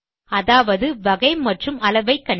அதாவது வகை மற்றும் அளவை கணிக்க